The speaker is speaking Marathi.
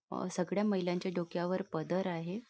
अ सगळ्या महिलांच्या डोक्यावर पदर आहे.